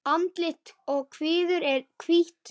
Andlit og kviður er hvítt.